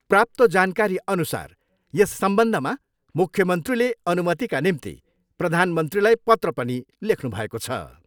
प्राप्त जानकारीअनुसार यस सम्बन्धमा मुख्यमन्त्रीले अनुमतिका निम्ति प्रधानमन्त्रीलाई पत्र पनि लेख्नुभएको छ।